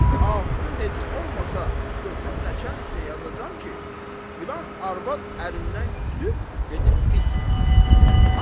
Axırı heç olmasa götürüb nəçənliyə yazacam ki, filan arvad ərindən küsüb gedib pis yola düşübdür.